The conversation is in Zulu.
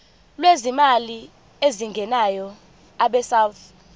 lwezimali ezingenayo abesouth